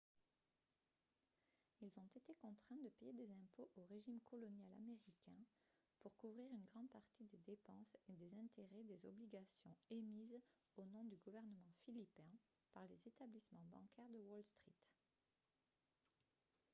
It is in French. ils ont été contraints de payer des impôts au régime colonial américain pour couvrir une grande partie des dépenses et des intérêts des obligations émises au nom du gouvernement philippin par les établissements bancaires de wall street